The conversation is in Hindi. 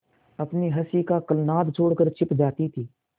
अपनी हँसी का कलनाद छोड़कर छिप जाती थीं